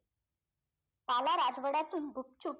काला राजवाड्यातून गुपचुप